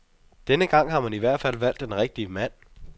Denne gang har man ihvertfald valgt den rigtige mand.